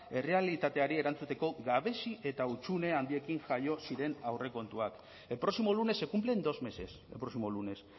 errealitateari erantzuteko gabezi eta hutsune handiekin jaio ziren aurrekontuak el próximo lunes se cumplen dos meses el próximo lunes